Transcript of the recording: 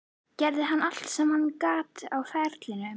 Gerði hann allt sem hann gat á ferlinum?